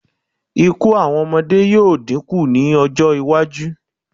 Ikú àwọn ọmọdé yóò dínkù ní ọjọ́-iwájú.